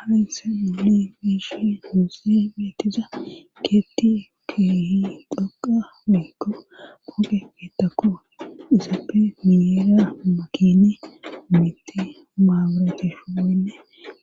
hainse madi miishi huusi metiza keetti keehi dhoqa weekko poge keettakko isappe minera makini mitti maaburetishu gawnne